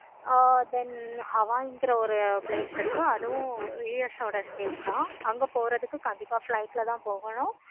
ஆஹ் then ஒரு place இருக்கு. அதுவும் US ஓட state தான் அங்க போறதுக்கு கண்டிப்பா flight ல தான் போகணும்.